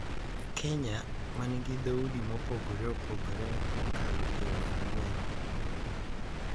Kenya, ma nigi dhoudi mopogore opogore mokalo piero ang’wen,